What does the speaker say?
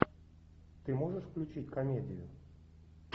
ты можешь включить комедию